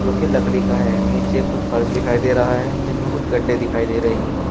के लकड़ी का है नीचे कुछ फर्श दिखाई दे रहा है जिसमें कुछ गड्ढे दिखाई दे रहे हैं।